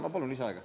Ma palun lisaaega.